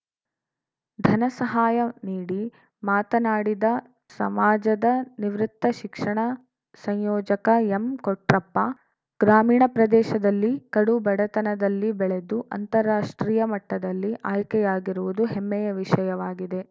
ಧನ ಸಹಾಯ ನೀಡಿ ಮಾತನಾಡಿದ ಸಮಾಜದ ನಿವೃತ್ತ ಶಿಕ್ಷಣ ಸಂಯೋಜಕ ಎಂ ಕೊಟ್ರಪ್ಪ ಗ್ರಾಮೀಣ ಪ್ರದೇಶದಲ್ಲಿ ಕಡು ಬಡತನದಲ್ಲಿ ಬೆಳೆದು ಅಂತಾರಾಷ್ಟ್ರೀಯ ಮಟ್ಟದಲ್ಲಿ ಆಯ್ಕೆಯಾಗಿರುವುದು ಹೆಮ್ಮೆಯ ವಿಷಯವಾಗಿದೆ